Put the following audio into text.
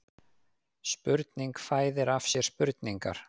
Spurningin fæðir af sér spurningar